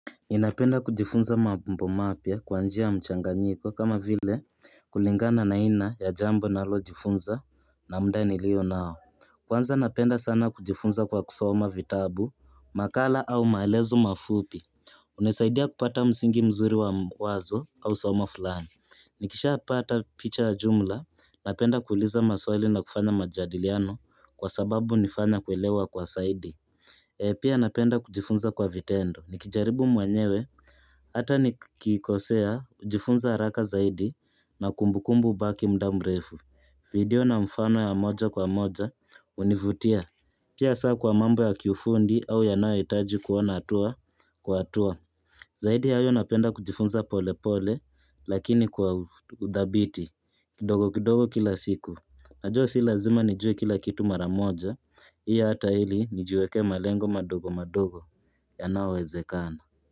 Ninapenda kujifunza mambo mapya kwa njia ya mchanganyiko kama vile kulingana na aina ya jambo nalo jifunza na muda nilio nao Kwanza napenda sana kujifunza kwa kusoma vitabu makala au maelezo mafupi Unasaidia kupata msingi mzuri wa wazo au somo fulani Nikishapata picha jumla napenda kuuliza maswali na kufanya majadiliano kwa sababu inanifanya kuelewa kwa zaidi Pia napenda kujifunza kwa vitendo. Nikijaribu mwenyewe. Hata nikikosea, hujifunza haraka zaidi na kumbukumbu hubaki muda mrefu. Video na mfano ya moja kwa moja hunivutia. Pia saa kwa mambo ya kiufundi au yanayohitaji kuona hatua kwa hatua. Zaidi ya hayo napenda kujifunza polepole lakini kwa udhabiti. Kidogo kidogo kila siku. Najua si lazima nijue kila kitu mara moja, hii hata heri nijiwekee malengo madogo madogo yanayowezekana.